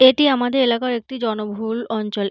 এটি আমাদের এলাকার একটি জনবহুউউল অঞ্চল।